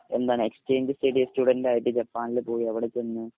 എന്താണ് എക്സ്ചേഞ്ച് ചെയ്തു സ്റ്റുഡൻറ് ആയിട്ട് ജപ്പാനിൽ പോയി അവിടെ ചെന്ന്